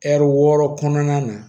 Ɛri wɔɔrɔ kɔnɔna na